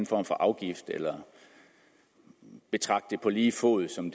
form for afgift eller betragte dem på lige fod som